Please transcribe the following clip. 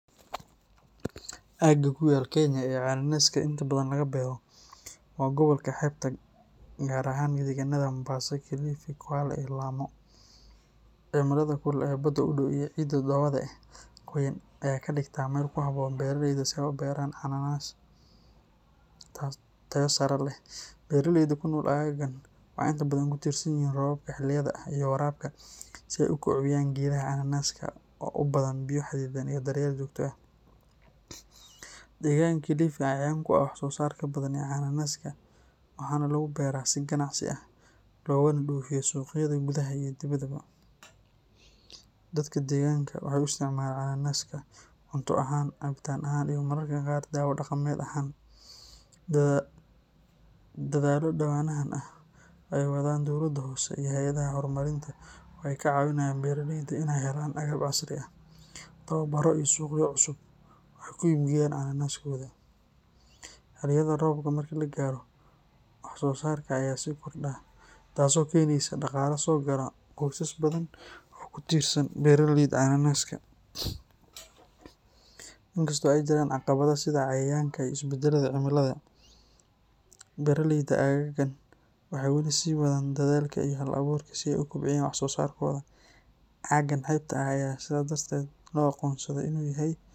Aagga ku yaal Kenya ee cananaska inta badan laga beero waa gobolka xeebta gaar ahaan deegaanada Mombasa, Kilifi, Kwale iyo Lamu. Cimilada kulul ee badda u dhow iyo ciidda dhoobada ah ee qoyan ayaa ka dhigta meel ku habboon beeralayda si ay u beeraan cananas tayo sare leh. Beeraleyda ku nool aaggan waxay inta badan ku tiirsan yihiin roobabka xilliyada ah iyo waraabka si ay u kobciyaan geedaha cananaska oo u baahan biyo xaddidan iyo daryeel joogto ah. Deegaanka Kilifi ayaa caan ku ah wax soo saarka badan ee cananaska, waxaana lagu beeraa si ganacsi ah loogana dhoofiyo suuqyada gudaha iyo dibaddaba. Dadka deegaanka waxay u isticmaalaan cananaska cunto ahaan, cabitaan ahaan, iyo mararka qaar daawo dhaqameed ahaan. Dadaallo dhowaanahan ah oo ay wadaan dowladda hoose iyo hay’adaha horumarinta waxay ka caawinayaan beeraleyda inay helaan agab casri ah, tababarro iyo suuqyo cusub oo ay ku iibgeeyaan cananaskooda. Xilliyada roobka marka la gaaro, wax-soo-saarka ayaa sii kordha, taasoo keenaysa dhaqaale soo gala qoysas badan oo ku tiirsan beeralayda cananaska. Inkastoo ay jiraan caqabado sida cayayaanka iyo isbedelka cimilada, beeraleyda aaggan waxay weli sii wadaan dedaalka iyo hal-abuurka si ay u kobciyaan wax soo saarkooda. Aaggan xeebta ah ayaa sidaas darteed loo aqoonsaday inuu yahay.